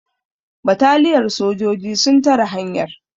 bataliyar sojoji sun tare hanyar